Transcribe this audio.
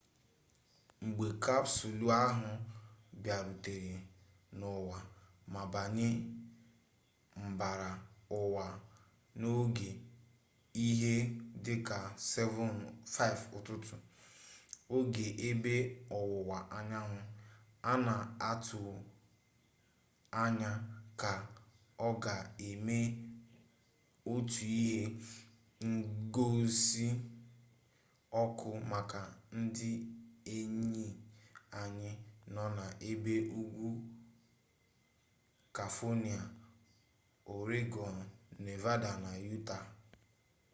mgbe kapsụlụ ahụ bịarutere n’ụwa ma banye mbara ụwa n’oge ihe dị ka 5 ụtụtụ oge ebe ọwụwa anyanwụ a na-atụanya na ọ ga-eme otu ihe ngosi ọkụ maka ndị enyi anyị nọ na ebe ugwu kaifonịa ọregọn nevada na yutaa